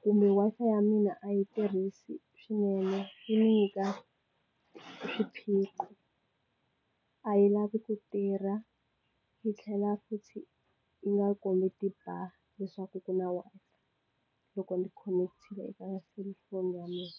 kumbe Wi-Fi ya mina a yi tirhisi swinene yi nyika swiphiqo a yi lavi ku tirha yi tlhela futhi yi nga kombi ti bar leswaku ku na loko ndzi khonekitile eka selulafoni ya mina.